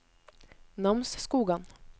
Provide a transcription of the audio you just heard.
Namsskogan